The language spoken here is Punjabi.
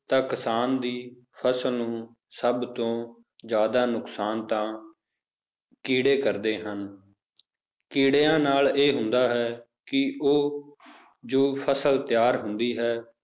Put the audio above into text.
ਤਾਂ ਕਿਸਾਨ ਦੀ ਫਸਲ ਨੂੰ ਸਭ ਤੋਂ ਜ਼ਿਆਦਾ ਨੁਕਸਾਨ ਤਾਂ ਕੀੜੇ ਕਰਦੇ ਹਨ ਕੀੜਿਆਂ ਨਾਲ ਇਹ ਹੁੰਦਾ ਹੈ ਕਿ ਉਹ ਜੋ ਫਸਲ ਤਿਆਰ ਹੁੰਦੀ ਹੈ